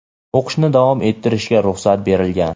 o‘qishni davom ettirishga ruxsat berilgan.